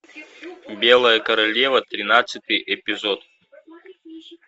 белая королева тринадцатый эпизод